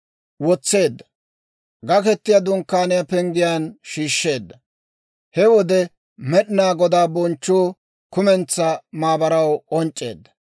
K'oraahi kumentsaa maabaraa Gaketiyaa Dunkkaniyaa penggiyaan shiishsheedda. He wode Med'inaa Godaa bonchchuu kumentsaa maabaraw k'onc'c'eedda.